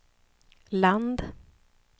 land